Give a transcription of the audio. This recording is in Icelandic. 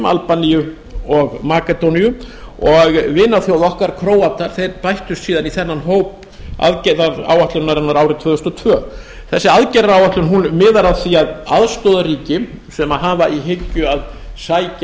albaníu og makedóníu og vinaþjóð okkar króatar bættust síðan í þennan hóp aðgerðaráætlunarinnar árið tvö þúsund og tvö þessi aðgerðaráætlun miðar að því að aðstoða ríki sem hafa í hyggju að sækja